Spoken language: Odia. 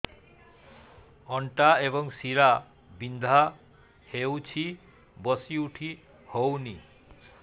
ଅଣ୍ଟା ଏବଂ ଶୀରା ବିନ୍ଧା ହେଉଛି ବସି ଉଠି ହଉନି